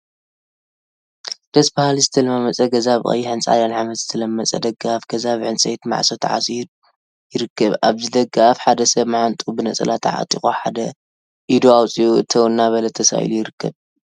ደስ በሃሊ ዝተለማመፀ ገዛ ብቀይሕን ፃዕዳን ሓመድ ዝተለመፀ ደገ አፍ ገዛ ብዕንፀይቲ ማዕፆ ተዓፅዩ ይርከብ፡፡ አብዚ ደገ አፍ ሓደ ሰብ መዓንጥኡ ብነፀላ ተዓጢቁ ሓደ ኢዱ አውፂኡ እተው እናበለ ተሳኢሉ ይርከብ፡